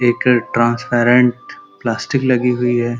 एक transparent plastic लगी हुई है।